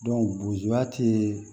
bozoya tee